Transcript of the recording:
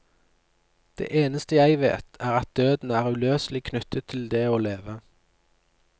Det eneste jeg vet, er at døden er uløselig knyttet til det å leve.